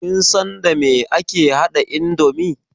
Kin san dame ake haɗa indomi?